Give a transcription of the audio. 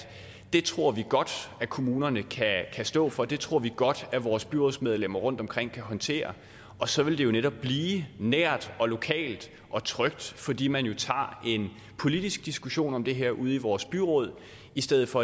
det tror vi godt at kommunerne kan stå for det tror vi godt at vores byrådsmedlemmer rundtomkring kan håndtere og så vil det netop blive nært og lokalt og trygt fordi man jo tager en politisk diskussion om det her ude i vores byråd i stedet for